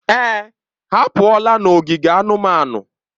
Èè, ha apụọla n'ogige anụmanụ.